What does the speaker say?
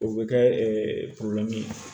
O bɛ kɛ